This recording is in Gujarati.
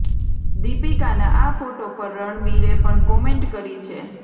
દીપિકાના આ ફોટો પર રણબીરે પણ કમેન્ટ કરી છે